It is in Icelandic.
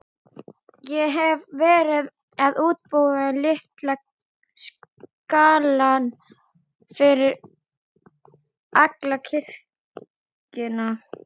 Ég hefi verið að útbúa litaskalann fyrir alla kirkjuna.